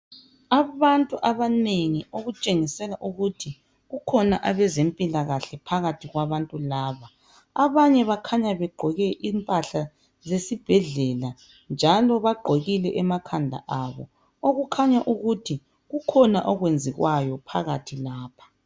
Abantu abanengi okutshengisela ukuthi kukhona abezempila kahle phakathi kwabantu laba abanye bakhanya begqoke impahla zesibhedlela njalo bagqokile emakhanda abo okukhanya ukuthi kukhona okwenziwayo phakathi lapho.